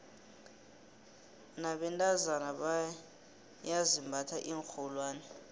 nabentazona boyaizimbatha iinxholwane